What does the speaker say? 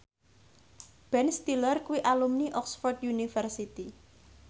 Ben Stiller kuwi alumni Oxford university